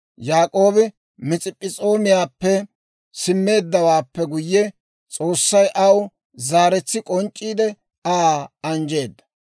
Yaak'oobi Masp'p'es'oomiyaappe simmeeddawaappe guyye, S'oossay aw zaaretsi k'onc'c'iide, Aa anjjeedda;